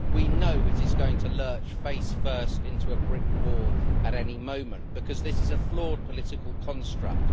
We know it is going to lurch face first into a brick wall at any moment, because this is a flawed political construct.